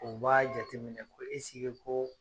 O b'a jateminɛ ko esike koo